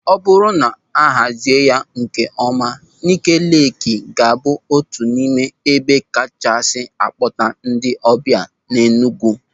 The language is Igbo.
O bụrụ na a hazie ya nkeọma, Ńịké Leekị ga-abụ otu n'ime ebe kachasị a kpọta ndị ọbịa n'Enugwu.